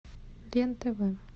лен тв